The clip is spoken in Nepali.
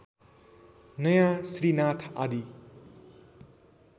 नयाँ श्री नाथ आदि